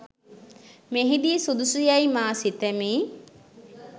මෙහිදී සුදුසු යැයි මා සිතමි.